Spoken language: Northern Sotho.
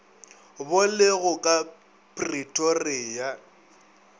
bo le go ka pretoria